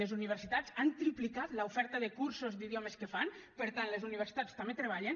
les universitats han triplicat l’oferta de cursos d’idiomes que fan per tant les universitats també treballen